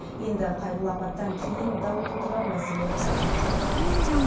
енді қайғылы апаттан кейін дау тудырған мәселе қайта қаралмақ